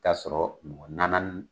k'a sɔrɔ mɔgɔ nana ni